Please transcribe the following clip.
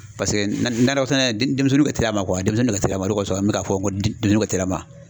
Paseke nakɔ sɛnɛ denmisɛnnin ka teli a ma denmisɛnnin ka teli a ma o de kɔsɔn n bɛ k'a fɔ ko denmisɛnniw ka teli a ma.